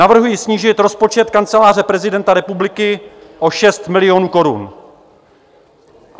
Navrhuji snížit rozpočet Kanceláře prezidenta republiky o 6 milionů korun.